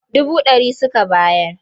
Dubu ɗari suka bayar.